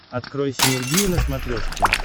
открой синергия на смотрешке